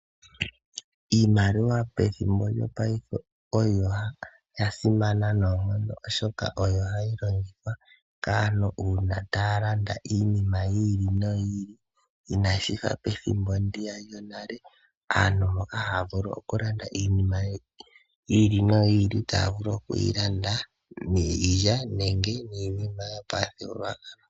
Iimaliwa pethimbo lyopaife oyo ya simana noonkondo, oshoka oyo hayi longithwa kaantu uuna taya landa iinima yi ili noyi ili, inashi fa pethimbo ndiya lyonale aantu moka haya landa iinima yi ili noyi ili taya vulu oku yi landa niilya nenge niinima yo pamuthigululwakalo.